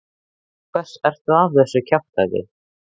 Til hvers ertu að þessu kjaftæði?